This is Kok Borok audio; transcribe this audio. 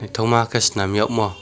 twima ke chwnam wng mo.